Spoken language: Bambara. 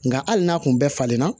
Nka hali n'a tun bɛ falen na